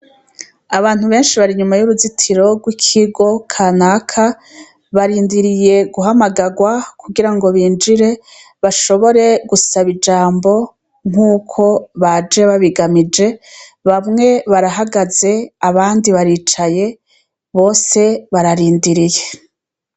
Abantu benshi bari inyuma yuruzitiro rwikigo kanaka barindiriye guhamagarwa kugirango binjire bashobore gusaba ijambo nkuko baje babiganije bamwe barahagaze abandi baricaye bose bararindiriye